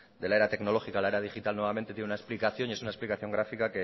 de la era tecnológica a la era digital nuevamente tiene una explicación y es una explicación gráfica